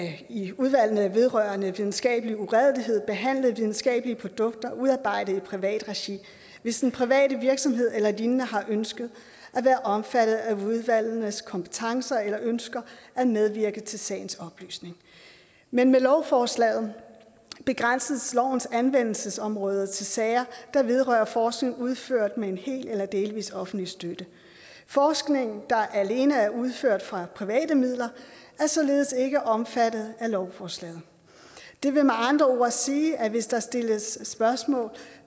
i udvalgene vedrørende videnskabelig uredelighed behandle videnskabelige produkter udarbejdet i privat regi hvis den private virksomhed eller lignende har ønsket at være omfattet af udvalgenes kompetencer eller ønsker at medvirke til sagens oplysning men med lovforslaget begrænses lovens anvendelsesområder til sager der vedrører forskning udført med en hel eller delvis offentlig støtte forskning der alene er udført for private midler er således ikke omfattet af lovforslaget det vil med andre ord sige at hvis der sættes spørgsmåltegn